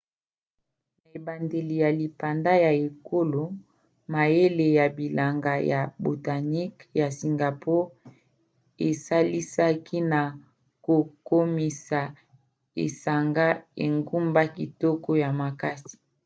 na ebandeli ya lipanda ya ekolo mayele ya bilanga ya botaniques ya singapour esalisaki na kokomisa esanga engumba kitoko ya makasi